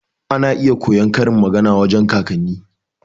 Ana iya koyon karin magana wajan kakanni.